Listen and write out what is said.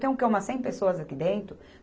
Tem o quê, umas cem pessoas aqui dentro?